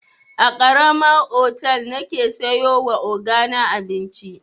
A karama otal nake siyowa ogana abinci.